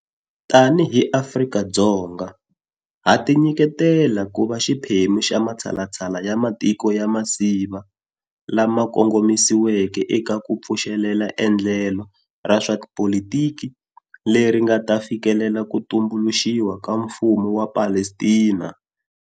Tanihi Afrika-Dzonga, ha tinyiketela ku va xiphemu xa matshalatshala ya matiko ya masiva lama kongomisiweke eka ku pfuxelela endlelo ra swa tipolitiki leri nga ta fikelela ku tumbuluxiwa ka mfumo wa Palestina.